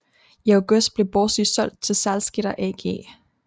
I august blev Borsig solgt til Salzgitter AG